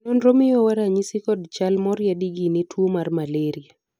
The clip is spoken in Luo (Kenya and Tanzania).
nonro miyowa ranyisi kod chal moriedi gi ne tuo mar malraia